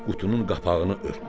Qutunun qapağını örtdüm.